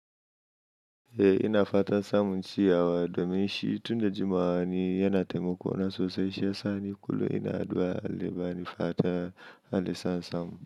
Eh, ina fatan samun ciyawa domin shi tun da jimawa ni yana taimako na sosai, shi ya sa ni kullum ina addu'a Allah ya bani fata, Allah ya sa in samu.